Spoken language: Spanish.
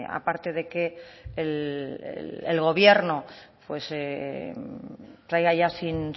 aparte de que el gobierno traiga ya